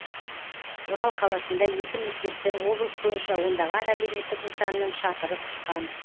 орал қаласында екі мектептің облыс бойынша ондаған әлеуметтік нысанның шатыры ұшқан